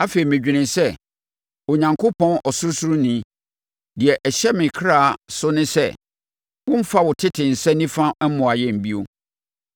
Afei, medwenee sɛ, “Onyankopɔn Ɔsorosoroni, deɛ ɛhyɛ me kra so ne sɛ, wommfa wo tete nsa nifa no mmoa yɛn bio.”